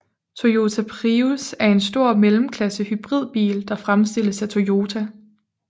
Toyota Prius er en stor mellemklasse hybridbil der fremstilles af Toyota